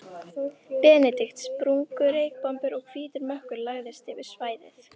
Benedikt, sprungu reykbombur og hvítur mökkur lagðist yfir svæðið.